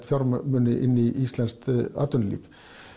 fjármuni inn í íslenskt atvinnulíf